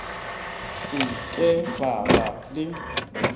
se ke ba ba le